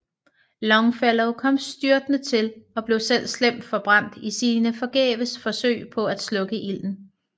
Longfellow kom styrtende til og blev selv slemt forbrændt i sine forgæves forsøg på at slukke ilden